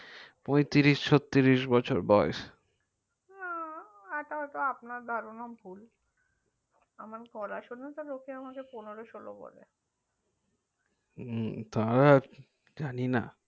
পঁয়ত্রিশ ছত্রিশ বয়েস আ আপনার ধারণা ভুল আমার গলা শুনে লোকে আমাকে পনেরো সোলো বলে তা জানি না